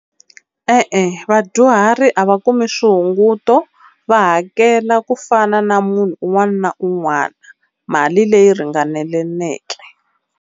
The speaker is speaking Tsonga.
E-e vadyuhari a va kumi swihunguto va hakela kufana na munhu un'wana na un'wana mali leyi ringaneleke.